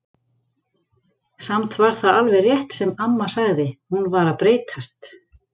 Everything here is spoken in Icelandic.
Samt var það alveg rétt sem amma sagði, hún var að breytast.